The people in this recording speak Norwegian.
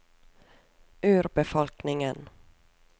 urbefolkningen